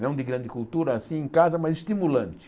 não de grande cultura assim em casa, mas estimulante.